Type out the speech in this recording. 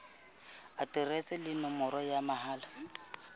aterese le nomoro ya mohala